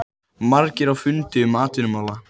Margir á fundi um atvinnumál